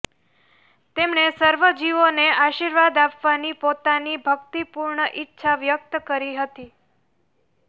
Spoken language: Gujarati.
તેમણે સર્વે જીવોને આર્શીવાદ આપવાની પોતાની ભક્તિપૂર્ણ ઈચ્છા વ્યક્ત કરી હતી